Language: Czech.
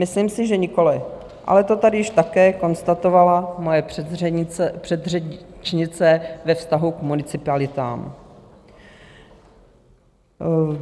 Myslím si, že nikoliv, ale to tady již také konstatovala moje předřečnice ve vztahu k municipalitám.